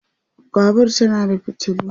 Babur tana da fitilu